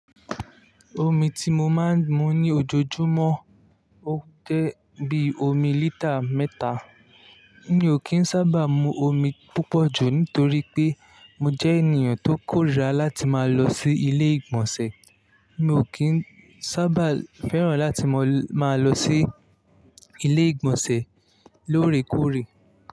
Omi ti mo máa ń mu ní ojoojúmọ́ ó jẹ́ bí omi lítà mẹ́ta. Mi ò kí ń sábà mu omi púpọ̀ jù nítorí pé mo jẹ́ ènìyàn tó kórìíra láti máa lọ sí ilé ìgbọ̀nsẹ̀. Mi ò kí ń sábà fẹ́ràn láti máa lọ sí ilé ìgbọ̀nsẹ̀ lóòrèkóòrè.